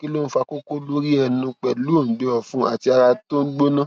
kí ló ń fa koko lórí ẹnu pẹlú ogbe ọfun àti ara to n gbona